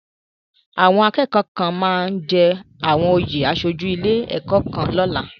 Àwọn akẹ́kọ̀ọ́ kan máa jẹ àwọn oyè aṣojú ilé ẹ̀kọ́ lọ́la.